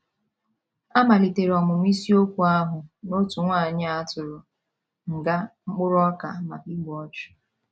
A maliteere ọmụmụ isiokwu ahụ n' otu nwanyị a tụrụ nga mkpụrụ ọka maka igbu ọchụ,